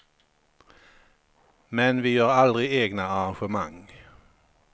Men vi gör aldrig egna arrangemang.